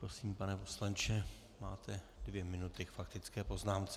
Prosím, pane poslanče, máte dvě minuty k faktické poznámce.